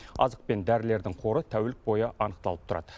азық пен дәрілердің қоры тәулік бойы анықталып тұрады